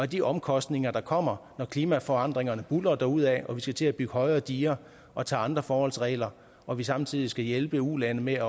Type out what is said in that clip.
de omkostninger der kommer når klimaforandringerne buldrer derudad og vi skal til at bygge højere diger og tage andre forholdsregler og vi samtidig skal hjælpe ulande med